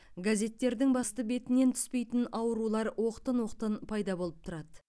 газеттердің басты бетінен түспейтін аурулар оқтын оқтын пайда болып тұрады